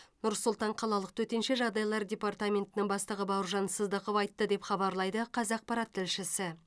нұр сұлтан қалалық төтенше жағдайлар департаментінің бастығы бауыржан сыздықов айтты деп хабарлайды қазақпарат тілшісі